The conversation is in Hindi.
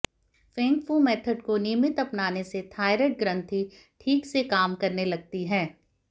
फेंग फू मेथड को नियमित अपनाने से थायराइड ग्रंथि ठीक से काम करने लगती है